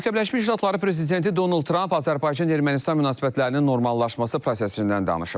Amerika Birləşmiş Ştatları prezidenti Donald Tramp Azərbaycan-Ermənistan münasibətlərinin normallaşması prosesindən danışıb.